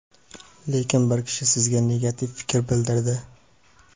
lekin bir kishi sizga negativ fikr bildirdi.